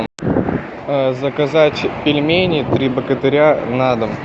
заказать пельмени три богатыря на дом